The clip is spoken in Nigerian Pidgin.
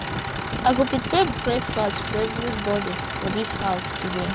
i go prepare breakfast for everybodi for dis house today